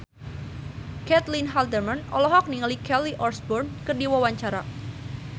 Caitlin Halderman olohok ningali Kelly Osbourne keur diwawancara